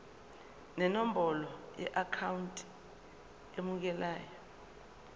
nenombolo yeakhawunti emukelayo